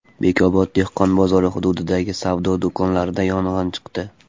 Bekobod dehqon bozori hududidagi savdo do‘konlarida yong‘in chiqdi.